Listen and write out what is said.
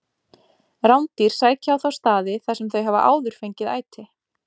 Rándýr sækja á þá staði þar sem þau hafa áður fengið æti.